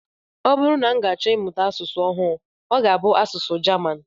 Ọ bụrụ na m ga-achọ ịmụta asụsụ ọhụụ, ọ ga-abụ asụsụ German